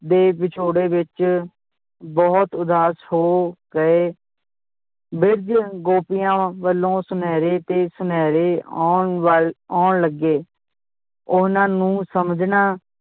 ਦੇ ਵਿਛੋੜੇ ਵਿਚ ਬਹੁਤ ਉਦਾਸ ਹੋ ਗਏ ਬਿੱਜ ਗੋਪੀਆਂ ਵੱਲੋਂ ਸਨੇਹੇ ਤੇ ਸਨੇਹੇ ਆਉਣ ਵਾ~ ਆਉਣ ਲੱਗੇ ਉਹਨਾਂ ਨੂੰ ਸਮਝਣਾਂ